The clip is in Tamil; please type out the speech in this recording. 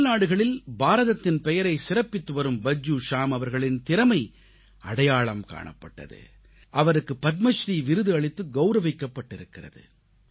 அயல்நாடுகளில் பாரதத்தின் பெயரை சிறப்பித்துவரும் பஜ்ஜூ ஷ்யாம் அவர்களின் திறமை அடையாளம் காணப்பட்டது அவருக்கு பத்மஸ்ரீ விருது அளித்து கௌரவிக்கப்பட்டிருக்கிறது